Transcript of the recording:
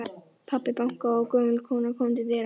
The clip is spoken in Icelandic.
Pabbi bankaði og gömul kona kom til dyra.